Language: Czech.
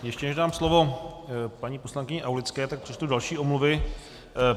Ještě než dám slovo paní poslankyni Aulické, tak přečtu další omluvy.